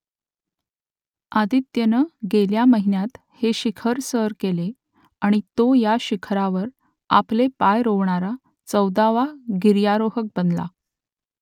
आदित्यनं गेल्या महिन्यात हे शिखर सर केले आणि तो या शिखरावर आपले पाय रोवणारा चौदावा गिर्यारोहक बनला